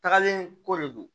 Tagalen ko de do